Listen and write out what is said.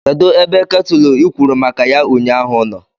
Kedu ebe iketulu i kwuru maka ya ụnyaahụ nọ?